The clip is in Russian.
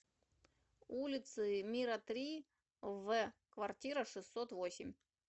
улицы мира три в квартира шестьсот восемь